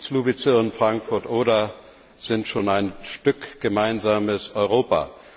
Słubice und Frankfurt Oder sind schon ein Stück gemeinsames Europa.